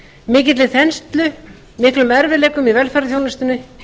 mikilli þenslu miklum erfiðleikum í velferðarþjónustunni